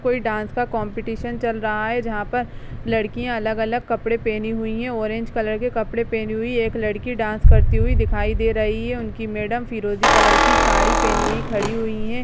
कोई डांस का कॉम्पिटिशन चल रहा है जहां पर लड़कियां अलग-अलग कपड़े पहने हुई हैं ऑरेंज कलर के कपड़े पहने हुई एक लड़की डांस करती हुई दिखाई दे रही है उनकी मैडम फिरोजी कलर की साड़ी पहनी हुई खड़ी हुई हैं।